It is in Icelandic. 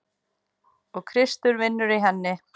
Og Kristur vinnur í henni.